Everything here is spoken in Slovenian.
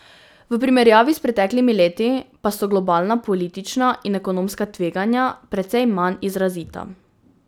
V primerjavi s preteklimi leti pa so globalna politična in ekonomska tveganja precej manj izrazita.